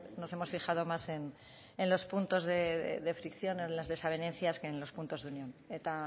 nos hemos fijado más en los puntos de fricción en las desavenencias que en los puntos de unión eta